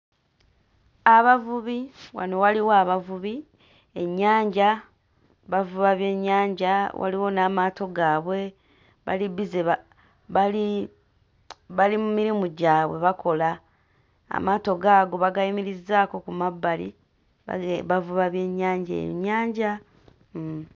Abavubi, wano waliwo abavubi, ennyanja, bavuba byennyanja, waliwo n'amaato gaabwe. Bali bbize ba... bali bali mu mirimu gyabwe bakola. Amaato gaago bagayimirizzaako ku mabbali bavuba byennyanja. Ennyanja hmm.